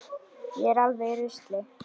Ég er alveg í rusli.